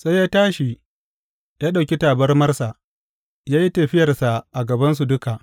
Sai ya tashi, ya ɗauki tabarmarsa, ya yi tafiyarsa a gabansu duka.